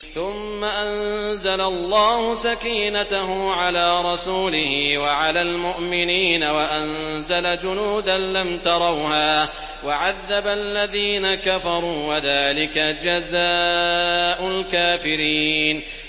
ثُمَّ أَنزَلَ اللَّهُ سَكِينَتَهُ عَلَىٰ رَسُولِهِ وَعَلَى الْمُؤْمِنِينَ وَأَنزَلَ جُنُودًا لَّمْ تَرَوْهَا وَعَذَّبَ الَّذِينَ كَفَرُوا ۚ وَذَٰلِكَ جَزَاءُ الْكَافِرِينَ